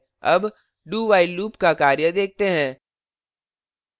अब do while loop का कार्य देखते हैं